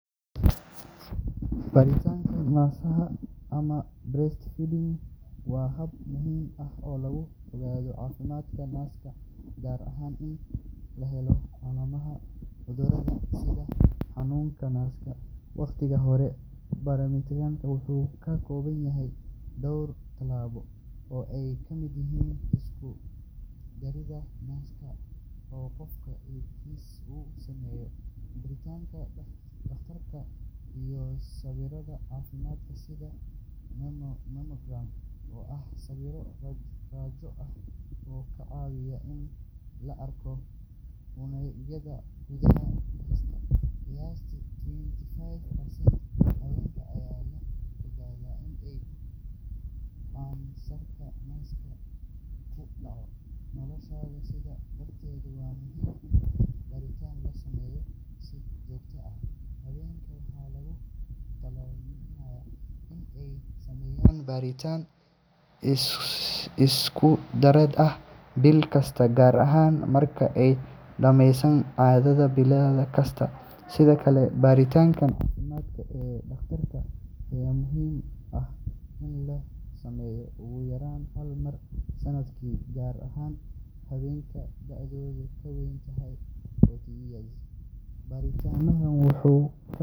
Baaritaanka naaska ama breast finding waa hab muhiim ah oo lagu ogaado caafimaadka naaska, gaar ahaan in la helo calaamadaha cudurrada sida kansarka naaska waqtigii hore. Baaritaankani wuxuu ka kooban yahay dhowr talaabo oo ay ka mid yihiin is-isku-daraasadda naaska oo qofku iskiis u sameeyo, baaritaanka dhakhtarka, iyo sawirrada caafimaad sida mammogram oo ah sawirro raajo ah oo ka caawiya in la arko unugyada gudaha naaska. Qiyaastii twenty five percent haweenka ayaa la ogaadaa in ay kansarka naaska ku dhacdo noloshooda, sidaa darteed waa muhiim in baaritaanka la sameeyo si joogto ah. Haweenka waxaa lagu talinayaa in ay sameeyaan baaritaan is-isku-daraasad ah bil kasta gaar ahaan marka ay dhammeeyaan caadada bil kasta. Sidoo kale, baaritaanka caafimaad ee dhakhtarka ayaa muhiim ah in la sameeyo ugu yaraan hal mar sanadkii, gaar ahaan haweenka da’doodu ka weyn tahay forty years. Baaritaanku wuxuu ka hortagi karaa xaalado halis ah iyo in la ogaado haddii ay jiraan burooyin yaryar oo aan la dareemin. Waxaa muhiim ah in qofku ogaado calaamadaha.